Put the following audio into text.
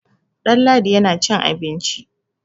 Ɗanladi yana cin abinci.